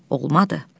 Olmadı.